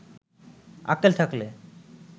আক্কেল থাকলে